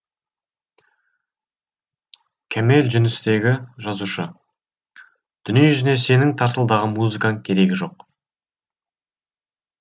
кәмел жүністегі жазушы дүниежүзіне сенің тарсылдаған музыкаң керегі жоқ